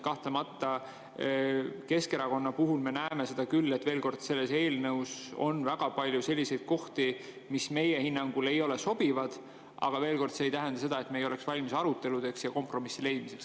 Kahtlemata, Keskerakonnas me näeme seda küll, et selles eelnõus on väga palju selliseid kohti, mis meie hinnangul ei ole sobivad, aga veel kord: see ei tähenda seda, et me ei oleks valmis aruteludeks ja kompromissi leidmiseks.